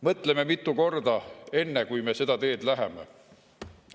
Mõtleme mitu korda, enne kui me seda teed läheme!